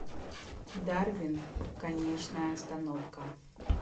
дарвин конечная остановка